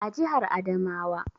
A jihar Adamawa